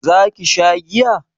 za ki sha giya?